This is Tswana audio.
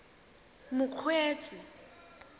mokgweetsi